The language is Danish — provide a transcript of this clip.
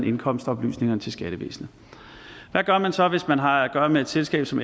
indkomstoplysningerne til skattevæsenet hvad gør man så hvis man har at gøre med et selskab som